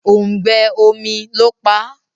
òùngbẹ omí ló pá.